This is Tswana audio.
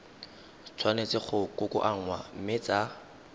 tshwanetse go kokoanngwa mme tsa